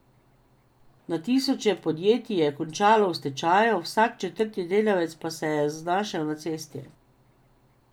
Na tisoče podjetij je končalo v stečaju, vsak četrti delavec pa se je znašel na cesti.